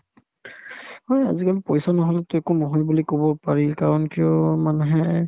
ঐ, আজিকালি পইচা নহ'লেতো একো নহয় বুলি ক'ব পাৰি কাৰণ কিয় মানুহে